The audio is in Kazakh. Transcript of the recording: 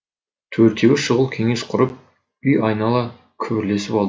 төртеуі шұғыл кеңес құрып үй айнала күбірлесіп алды